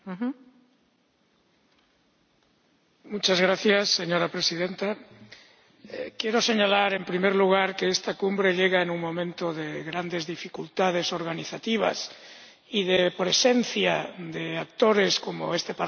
Señora Presidenta, quiero señalar en primer lugar que esta cumbre llega en un momento de grandes dificultades organizativas y de presencia de actores, como este Parlamento, que tiene dificultades en estar